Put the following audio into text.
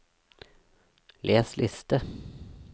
les liste